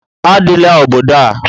Adịla obodo a!